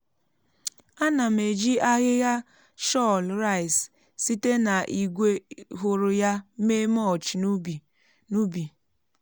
ana m eji ahịhịa shọl rice site na igwe hụrụ ya mee mulch n'ubi. n'ubi.